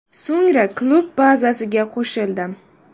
So‘ngra klub bazasiga qo‘shildim.